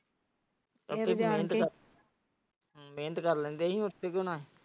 ਜਾਣਕੇ ਮਿਹਨਤ ਕਰ ਲੈਂਦੇ ਹਾਂ ਹੁਣ।